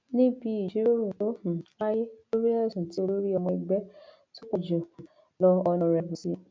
níbi ìjíròrò tó um wáyé lórí ẹsùn tí olórí ọmọ ẹgbẹ tó pọ jù um lọ ọnàrẹbù s